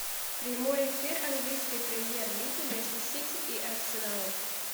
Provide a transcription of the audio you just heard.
прямой эфир английской премьер лиги между сити и арсеналом